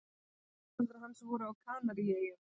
Tengdaforeldrar hans voru á Kanaríeyjum.